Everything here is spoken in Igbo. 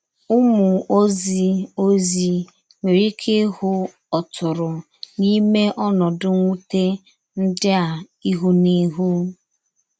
Ụ́mụ̀ òzì òzì nwerè íké íhú̄ ọ̀tụ̀rụ̀ n’ímè ònòdù mwútè ndí a íhú na íhú.